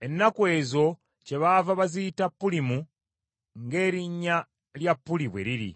Ennaku ezo kyebaava baziyita Pulimu ng’erinnya lya Puli bwe liri.